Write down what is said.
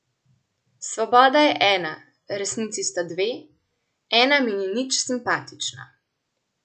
Svoboda je ena , resnici sta dve , ena mi ni nič simpatična .